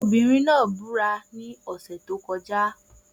Obìnrin náà búra ní ọ̀sẹ̀ tí ó kọjá